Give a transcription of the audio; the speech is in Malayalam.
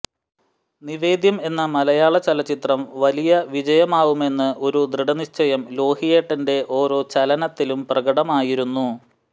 നിവേദ്യം എന്ന മലയാളചലച്ചിത്രം വലിയ വിജയമാവുമെന്ന് ഒരു ദൃഢനിശ്ചയം ലോഹിയേട്ടന്റെ ഓരോ ചലനത്തിലും പ്രകടമായിരുന്നു